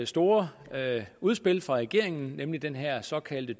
store udspil fra regeringen nemlig den her såkaldte